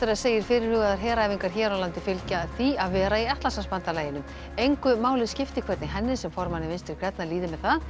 segir fyrirhugaðar heræfingar hér á landi fylgja því að vera í Atlantshafsbandalaginu engu máli skipti hvernig henni sem formanni Vinstri grænna líði með það